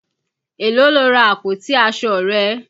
Èló lo ra àpótí aṣọ rẹ.